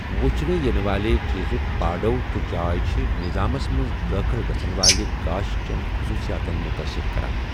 وٕچھنہٕ یِنہٕ والہِ چیٖزُک باڈو٘ تہٕ جاے چھِ نِظامس منٛز دٲخٕل گَژھن والہِ گاش چیٚن خٔصوٗصِیاتن مُتٲثِر کَران ۔